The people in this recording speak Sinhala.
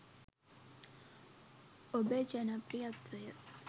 ඔබේ ජනප්‍රියත්වය